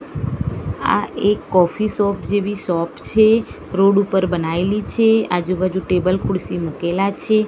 આ એક coffee shop જેવી શોપ છે રોડ ઉપર બનાઇલી છે આજુબાજુ ટેબલ ખુળસી મુકેલા છે.